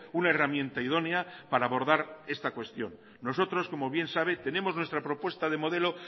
una herramienta idónea para abordar esta cuestión nosotros como bien sabe tenemos nuestra propuesta de modelo